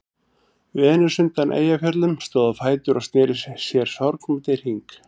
Venus undan Eyjafjöllum stóð á fætur og sneri sér sorgmædd í hring.